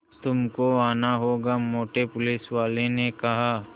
तुमको आना होगा मोटे पुलिसवाले ने कहा